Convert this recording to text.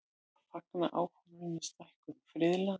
Fagna áformum um stækkun friðlands